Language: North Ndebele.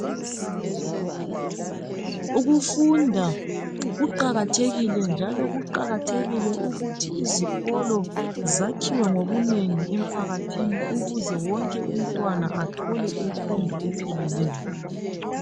Ukufunda kuqakathekile njalo kuqakathekile ukuthi izikolo zakhiwe ngobunengi emphakathini ukuze wonke umntwana athole imfundo epheleleyo.